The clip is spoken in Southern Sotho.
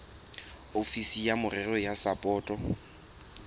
ofisiri ya merero ya sapoto